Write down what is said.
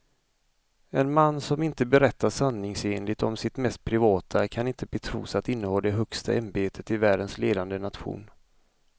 En man som inte berättar sanningsenligt om sitt mest privata kan inte betros att inneha det högsta ämbetet i världens ledande nation.